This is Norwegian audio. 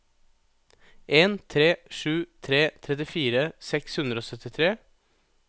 en tre sju tre trettifire seks hundre og syttitre